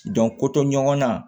ko to ɲɔgɔnna